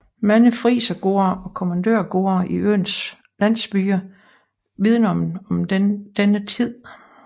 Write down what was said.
Mange frisergårde og kommandørgårde i øens landsbyer vidner om denne tid